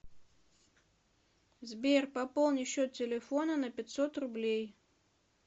сбер пополни счет телефона на пятьсот рублей